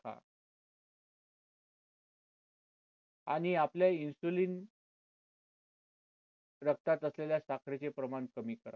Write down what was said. आणि आपल्या insulin रक्तात असलेल्या साखरेचे प्रमाण कमी करा